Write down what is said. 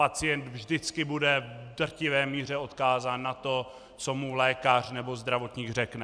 Pacient vždycky bude v drtivé míře odkázán na to, co mu lékař nebo zdravotník řekne.